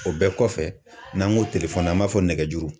O bɛɛ kɔfɛ , n'an ko telefɔni na an b'a fɔ nɛgɛjuru.